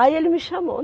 Aí ele me chamou.